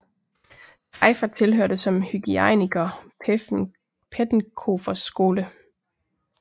Pfeiffer tilhørte som hygiejniker Pettenkofers skole